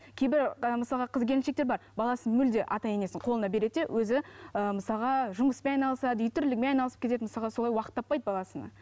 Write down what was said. кейбір мысалға қыз келіншектер бар баласын мүлде ата енесінің қолына береді де өзі ііі мысалға жұмыспен айналысады үй тірлігімен айналысып кетеді мысалға солай уақыт таппайды баласына